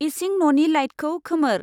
इसिं न'नि लाइटखौ खोमोर।